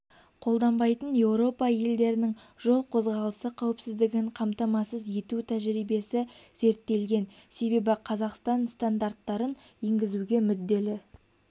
қолданбайтын еуропа елдерінің жол қозғалысы қауіпсіздігін қамтамасыз ету тәжірибесі зерттелген себебі қазақстан стандарттарын енгізуге мүдделі